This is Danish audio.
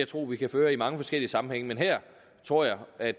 tro vi kan føre i mange forskellige sammenhænge men her tror jeg at